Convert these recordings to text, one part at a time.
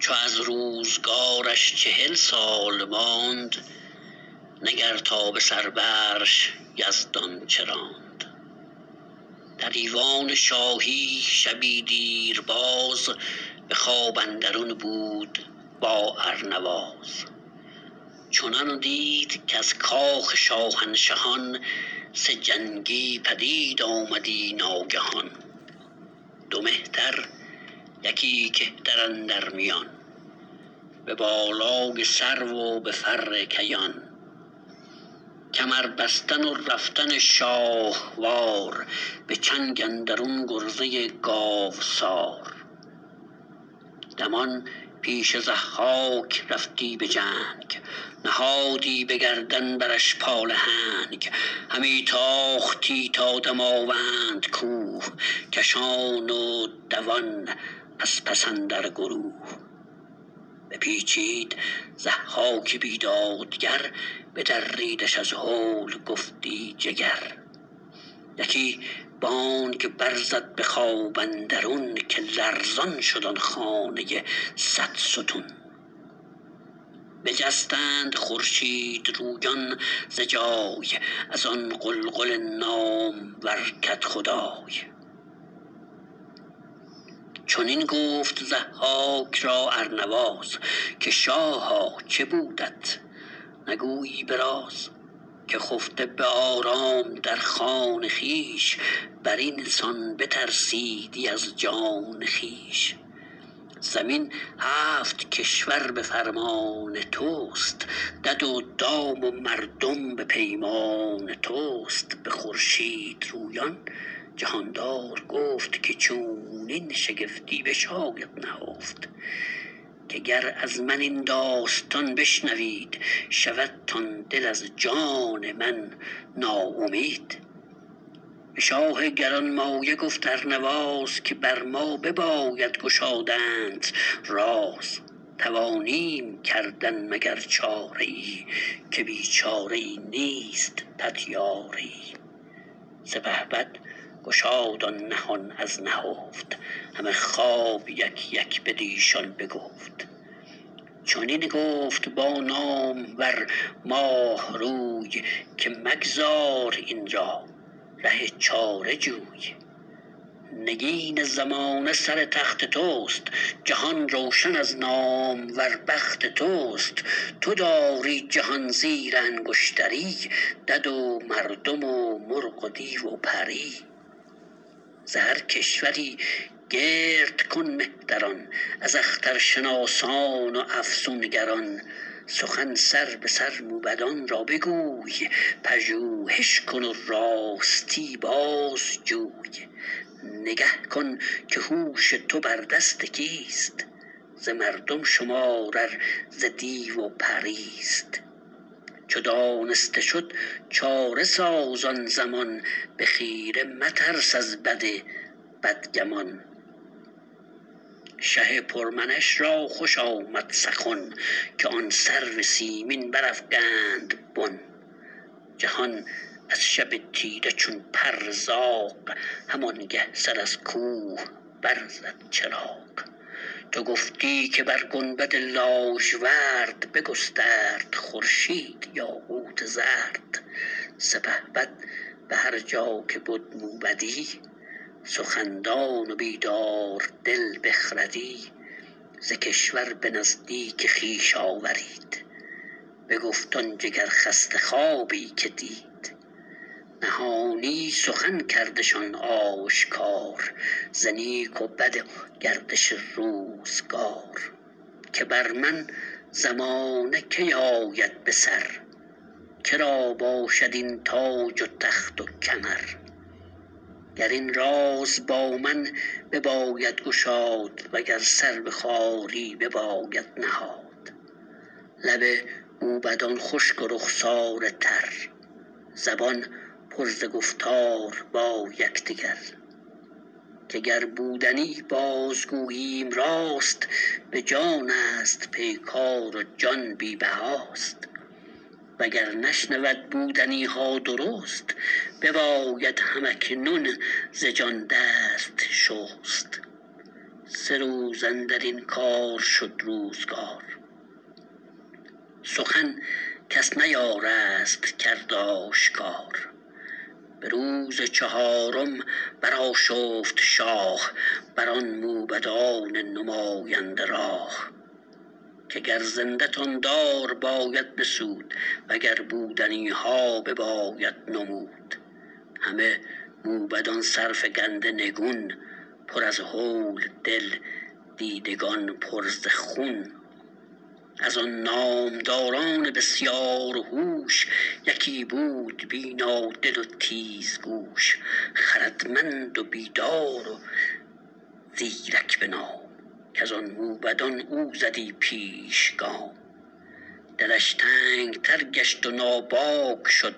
چو از روزگارش چهل سال ماند نگر تا به سر برش یزدان چه راند در ایوان شاهی شبی دیر یاز به خواب اندرون بود با ارنواز چنان دید کز کاخ شاهنشهان سه جنگی پدید آمدی ناگهان دو مهتر یکی کهتر اندر میان به بالای سرو و به فر کیان کمر بستن و رفتن شاهوار به چنگ اندرون گرزه گاوسار دمان پیش ضحاک رفتی به جنگ نهادی به گردن برش پالهنگ همی تاختی تا دماوند کوه کشان و دوان از پس اندر گروه بپیچید ضحاک بیدادگر بدریدش از هول گفتی جگر یکی بانگ بر زد به خواب اندرون که لرزان شد آن خانه صدستون بجستند خورشیدرویان ز جای از آن غلغل نامور کدخدای چنین گفت ضحاک را ارنواز که شاها چه بودت نگویی به راز که خفته به آرام در خان خویش بر این سان بترسیدی از جان خویش زمین هفت کشور به فرمان تو است دد و دام و مردم به پیمان تو است به خورشیدرویان جهاندار گفت که چونین شگفتی بشاید نهفت که گر از من این داستان بشنوید شودتان دل از جان من ناامید به شاه گرانمایه گفت ارنواز که بر ما بباید گشادنت راز توانیم کردن مگر چاره ای که بی چاره ای نیست پتیاره ای سپهبد گشاد آن نهان از نهفت همه خواب یک یک بدیشان بگفت چنین گفت با نامور ماهروی که مگذار این را ره چاره جوی نگین زمانه سر تخت تو است جهان روشن از نامور بخت تو است تو داری جهان زیر انگشتری دد و مردم و مرغ و دیو و پری ز هر کشوری گرد کن مهتران از اخترشناسان و افسونگران سخن سربه سر موبدان را بگوی پژوهش کن و راستی بازجوی نگه کن که هوش تو بر دست کیست ز مردم شمار ار ز دیو و پریست چو دانسته شد چاره ساز آن زمان به خیره مترس از بد بدگمان شه پر منش را خوش آمد سخن که آن سرو سیمین برافگند بن جهان از شب تیره چون پر زاغ همانگه سر از کوه بر زد چراغ تو گفتی که بر گنبد لاژورد بگسترد خورشید یاقوت زرد سپهبد به هر جا که بد موبدی سخن دان و بیداردل بخردی ز کشور به نزدیک خویش آورید بگفت آن جگرخسته خوابی که دید نهانی سخن کردشان آشکار ز نیک و بد و گردش روزگار که بر من زمانه کی آید بسر که را باشد این تاج و تخت و کمر گر این راز با من بباید گشاد و گر سر به خواری بباید نهاد لب موبدان خشک و رخساره تر زبان پر ز گفتار با یکدگر که گر بودنی باز گوییم راست به جانست پیکار و جان بی بهاست و گر نشنود بودنی ها درست بباید هم اکنون ز جان دست شست سه روز اندر این کار شد روزگار سخن کس نیارست کرد آشکار به روز چهارم برآشفت شاه بر آن موبدان نماینده راه که گر زنده تان دار باید بسود و گر بودنی ها بباید نمود همه موبدان سرفگنده نگون پر از هول دل دیدگان پر ز خون از آن نامداران بسیار هوش یکی بود بینادل و تیزگوش خردمند و بیدار و زیرک به نام کز آن موبدان او زدی پیش گام دلش تنگ تر گشت و ناباک شد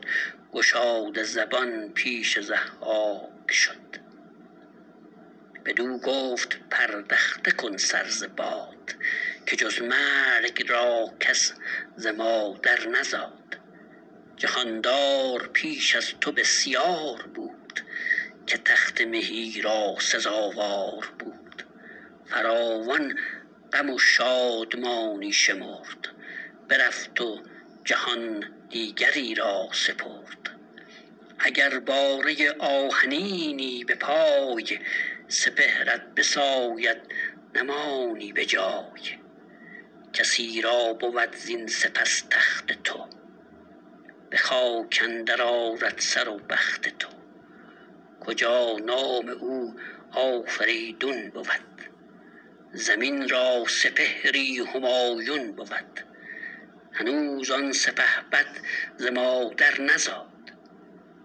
گشاده زبان پیش ضحاک شد بدو گفت پردخته کن سر ز باد که جز مرگ را کس ز مادر نزاد جهاندار پیش از تو بسیار بود که تخت مهی را سزاوار بود فراوان غم و شادمانی شمرد برفت و جهان دیگری را سپرد اگر باره آهنینی به پای سپهرت بساید نمانی به جای کسی را بود زین سپس تخت تو به خاک اندر آرد سر و بخت تو کجا نام او آفریدون بود زمین را سپهری همایون بود هنوز آن سپهبد ز مادر نزاد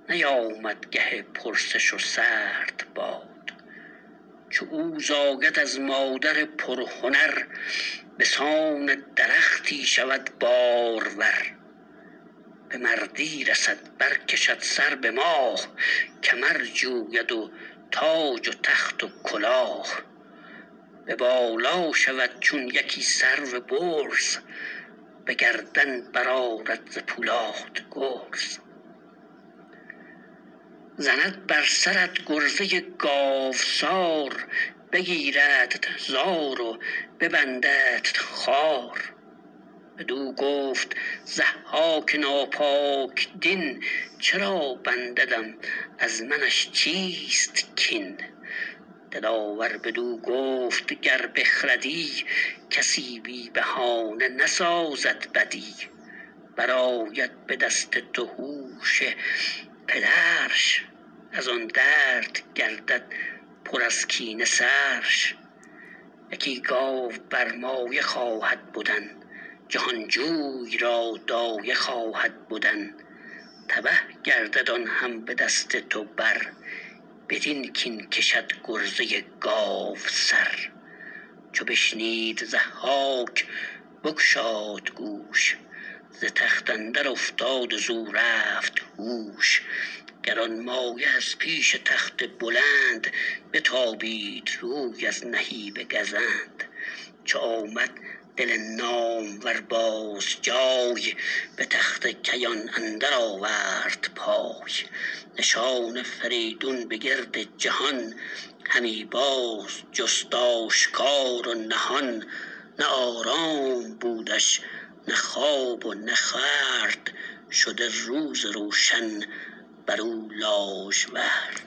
نیامد گه پرسش و سرد باد چو او زاید از مادر پرهنر به سان درختی شود بارور به مردی رسد بر کشد سر به ماه کمر جوید و تاج و تخت و کلاه به بالا شود چون یکی سرو برز به گردن برآرد ز پولاد گرز زند بر سرت گرزه گاوسار بگیردت زار و ببنددت خوار بدو گفت ضحاک ناپاک دین چرا بنددم از منش چیست کین دلاور بدو گفت گر بخردی کسی بی بهانه نسازد بدی برآید به دست تو هوش پدرش از آن درد گردد پر از کینه سرش یکی گاو برمایه خواهد بدن جهانجوی را دایه خواهد بدن تبه گردد آن هم به دست تو بر بدین کین کشد گرزه گاوسر چو بشنید ضحاک بگشاد گوش ز تخت اندر افتاد و زو رفت هوش گرانمایه از پیش تخت بلند بتابید روی از نهیب گزند چو آمد دل نامور باز جای به تخت کیان اندر آورد پای نشان فریدون به گرد جهان همی باز جست آشکار و نهان نه آرام بودش نه خواب و نه خورد شده روز روشن بر او لاژورد